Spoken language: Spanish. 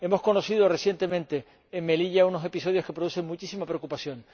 Hemos conocido recientemente en Melilla unos episodios que producen muchísima preocupación.